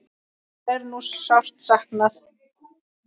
Hennar er nú sárt saknað.